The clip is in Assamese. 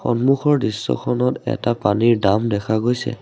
সন্মুখৰ দৃশ্যখনত এটা পানীৰ ডাম দেখা গৈছে।